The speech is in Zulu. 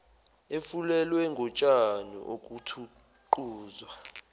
efulelwe ngotshani okuthuquzwa